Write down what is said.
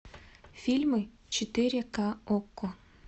фильмы четыре ка окко